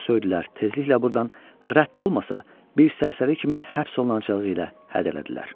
Onu söydülər, tezliklə burdan rədd olmasa, bir sərsəri kimi həbs olunacağı ilə hədələdilər.